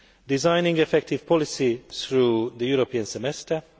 designing effective policy through the European Semester